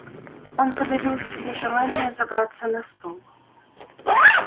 он подавил в себе желание забраться на стул